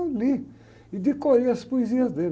Eu li, e decorei as poesias dele.